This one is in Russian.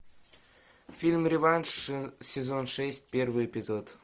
фильм реванш сезон шесть первый эпизод